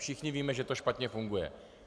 Všichni víme, že to špatně funguje.